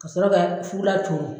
Ka sɔrɔ ka fukulan coron.